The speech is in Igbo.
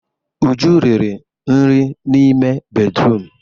Uju riri nri n'ime bédrụum.